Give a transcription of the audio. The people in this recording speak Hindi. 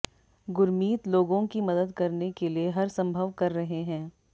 गुरमीत लोगों की मदद करने के लिए हर संभव कर रहे हैं